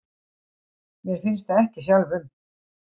Mér finnst það ekki sjálfum.